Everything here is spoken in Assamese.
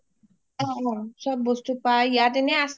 য’ত চব বস্তু পাই ইয়াত এনে আছে